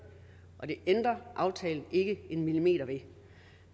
og det ændrer aftalen ikke en millimeter ved